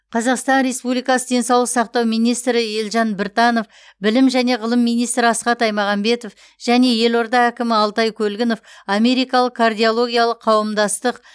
қазақстан республикасы денсаулық сақтау министрі елжан біртанов білім және ғылым миинстрі асхат аймағамбетов және елорда әкімі алтай көлгінов америкалық кардиологиялық қауымдастық